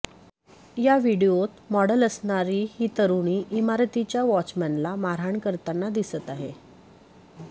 या व्हिडिओत मॉडल असणारी ही तरूणी इमारतीच्या वॉचमनला मारहाण करताना दिसत आहे